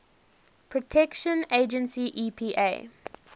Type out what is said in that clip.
protection agency epa